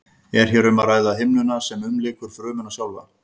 er hér um að ræða himnuna sem umlykur frumuna sjálfa